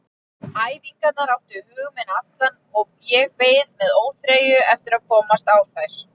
Æfingarnar áttu hug minn allan og ég beið með óþreyju eftir að komast á þær.